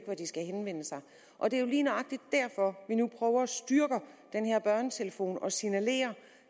hvor de skal henvende sig og det er jo lige nøjagtig derfor vi nu prøver at styrke den her børnetelefon og signalere